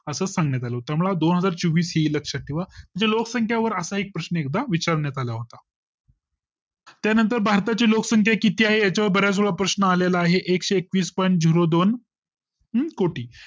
असं सांगण्यात आलं तर मला दोन हजार चौवीस ही लक्षात ठेवा लोकसंख्या वर असा एक प्रश्न अनेकदा विचारण्यात आला होता त्यानंतर भारता ची लोकसंख्या किती आहे याच्यावर बराच वेळा प्रश्न आले ला आहे एकशे एकवीस point zero दोन हम्म कोटी